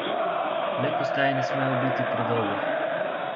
Le postaje ne smejo biti predolge.